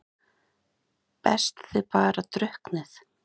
Best þið bara drukknið.